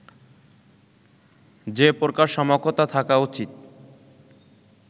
যে প্রকার সমকতা থাকা উচিত